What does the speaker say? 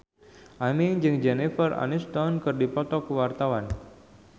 Aming jeung Jennifer Aniston keur dipoto ku wartawan